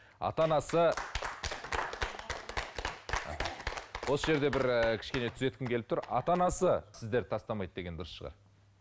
ата анасы осы жерде бір ііі кішкене түзеткім келіп тұр ата анасы сіздерді тастамайды деген дұрыс шығар